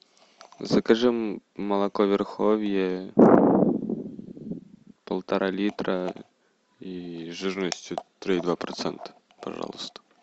закажи молоко верховье полтора литра и жирностью три и два процента пожалуйста